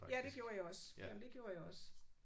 Ja det gjorde jeg også. Jamen det gjorde jeg også